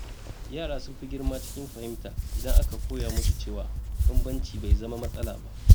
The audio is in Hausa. Yara sun fi girma cikin fahimta idan aka koya musu cewa bambanci bai zama matsala ba.